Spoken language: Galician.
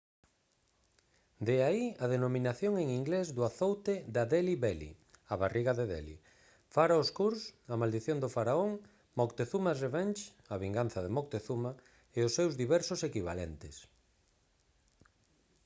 de aí a denominación en inglés do azoute da «delhi belly» a barriga de delhi «pharaoh's curse» a maldición do faraón «moctezuma's revenge» a vinganza de moctezuma e os seus diversos equivalentes